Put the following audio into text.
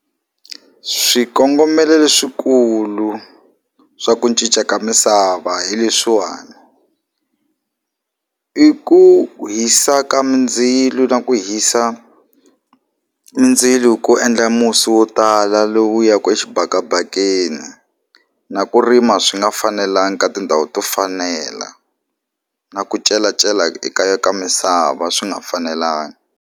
Swikongomelo leswikulu swa ku cinca ka misava hi leswiwani i ku hisa ka mindzilo na ku hisa mindzilo ku endla musi wo tala lowu ya ku exibakabakeni na ku rima swi nga fanelanga ka tindhawu to fanela na ku celecela eka ka misava swi nga fanelangi.